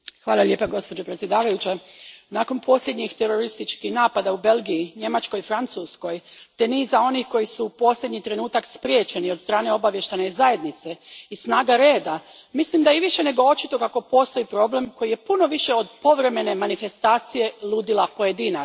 Gospođo predsjednice, nakon posljednjih terorističkih napada u Belgiji, Njemačkoj i Francuskoj te niza onih koji su u posljednji trenutak spriječeni od strane obavještajne zajednice i snaga reda, mislim da je i više nego očito kako postoji problem koji je puno više od povremene manifestacije ludila pojedinaca.